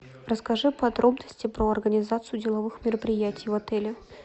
расскажи подробности про организацию деловых мероприятий в отеле